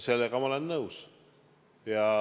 Sellega ma olen nõus.